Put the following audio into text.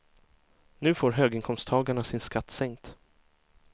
Nu får höginkomsttagarna sin skatt sänkt.